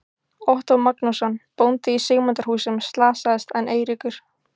Ottó Magnússon, bóndi í Sigmundarhúsum, slasaðist en Eiríkur